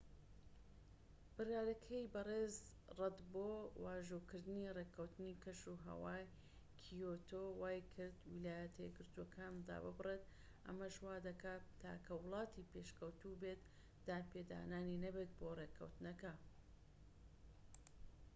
بڕیارەکەی بەڕێز ڕەد بۆ واژۆکردنی ڕێکەوتنی کەشوهەوای کیۆتۆ وای کرد ویلایەتە یەکگرتوەکان داببڕێت ئەمەش وادەکات تاکە وڵاتی پێشکەوتوو بێت دانپێدانانی نەبێت بۆ ڕێکەوتنەکە